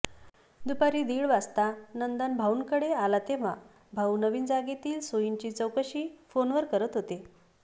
दुपारी दिड वाजता नंदन भाऊंकडे आला तेव्हा भाऊ नवीन जागेतील सोयींची चौकशी फ़ोनवर करत होते